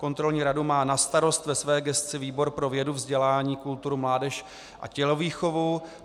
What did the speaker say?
Kontrolní radu má na starosti ve své gesci výbor pro vědu, vzdělání, kulturu, mládež a tělovýchovu.